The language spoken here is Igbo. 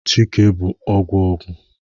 Chike bu ogwu ogwu